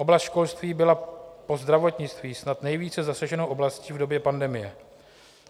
Oblast školství byla po zdravotnictví snad nejvíce zasaženou oblastí v době pandemie.